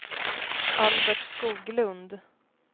Albert Skoglund